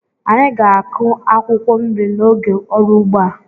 Anyị ga-akụ akwụkwọ nri n'oge ọrụ ugbo a.